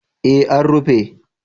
Eh an rufe